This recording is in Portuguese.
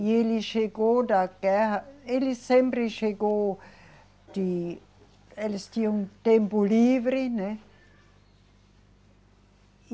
E ele chegou da guerra. Ele sempre chegou de, eles tinham tempo livre, né? E